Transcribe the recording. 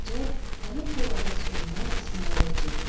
Hacər həmin bulağın suyundan İsmayıla içirtdi.